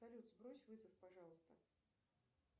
салют сбрось вызов пожалуйста